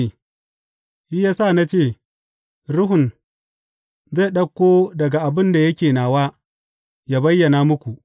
Shi ya sa na ce, Ruhun zai ɗauko daga abin da yake nawa, yă bayyana muku.’